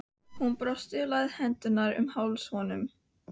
Hún brosti og lagði hendurnar um háls honum.